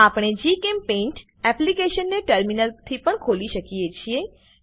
આપણે જીચેમ્પેઇન્ટ એપ્લીકેશન ને ટર્મિનલથી પણ ખોલી શકીએ છીએ